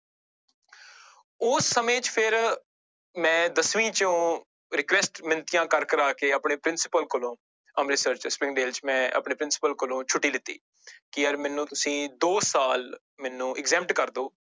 ਉਸ ਸਮੇਂ ਚ ਫਿਰ ਮੈਂ ਦਸਵੀਂ ਚੋਂ request ਮਿੰਨਤੀਆਂ ਕਰ ਕਰਾ ਕੇ ਆਪਣੇ ਪ੍ਰਿੰਸੀਪਲ ਕੋਲੋਂ ਅੰਮ੍ਰਿਤਸਰ ਚ ਚ ਮੈਂ ਆਪਣੇ ਪ੍ਰਿੰਸੀਪਲ ਕੋਲੋਂ ਛੁੱਟੀ ਲਿੱਤੀ ਕਿ ਯਾਰ ਮੈਨੂੰ ਤੁਸੀਂ ਦੋ ਸਾਲ ਮੈਨੂੰ exempt ਕਰ ਦਓ